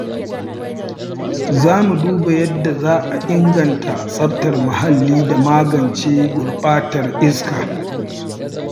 Za mu duba yadda za a inganta tsaftar muhalli da magance gurɓatar iska.